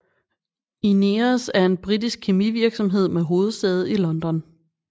INEOS er en britisk kemivirksomhed med hovedsæde i London